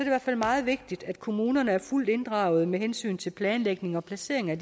i hvert fald meget vigtigt at kommunerne er fuldt inddraget med hensyn til planlægning og placering af